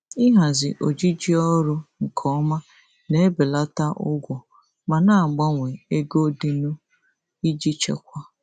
Ịhazi ojiji ọrụ nke ọma na-ebelata ụgwọ ma na-abawanye ego dịnụ iji chekwaa.